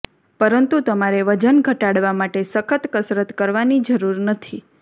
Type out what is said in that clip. પરંતુ તમારે વજન ઘટાડવા માટે સખત કસરત કરવાની જરૂર નથી